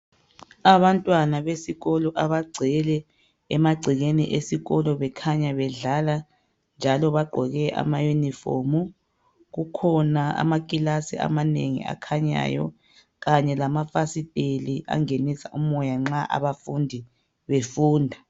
Abantwana besikolo abagcwele emagcekeni esikolo bekhanya bedlala njalo bagqoke ama uniform , kukhona amaklasi amanengi akhanyayo kanye lamafasitela angenisa umoya nxa abafundi befunda